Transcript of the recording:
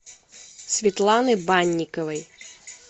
светланы банниковой